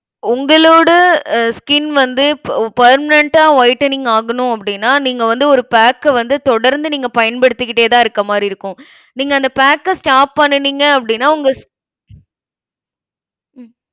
உங்களோட அஹ் skin வந்து pe~ permanent ஆ whitening ஆகணும் அப்படின்னா நீங்க வந்து ஒரு pack அ வந்து தொடர்ந்து நீங்க பயன்படுத்திக்கிட்டேதான் இருக்க மாதிரி இருக்கும். நீங்க அந்த pack அ stop பண்ணுனீங்க அப்படின்னா, உங்க